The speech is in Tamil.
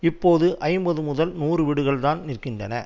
இப்போது ஐம்பது முதல் நூறு வீடுகள் தான் நிற்கின்றன